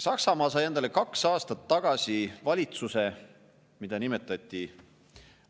Saksamaa sai endale kaks aastat tagasi valitsuse, mida nimetati